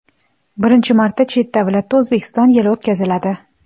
Birinchi marta chet davlatda O‘zbekiston yili o‘tkaziladi.